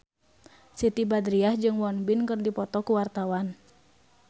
Siti Badriah jeung Won Bin keur dipoto ku wartawan